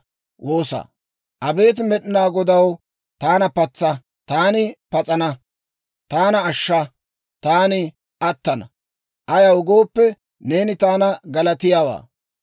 Abeet Med'inaa Godaw, taana patsa; taani pas'ana. Taana ashsha; taani attana. Ayaw gooppe, neeni taani galatiyaawaa.